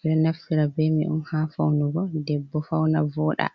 eɗo naftira be mai on ha faunurgo debbo fauna voɗa.